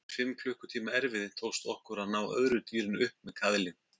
Eftir fimm klukkutíma erfiði tókst okkur að ná öðru dýrinu upp með kaðli.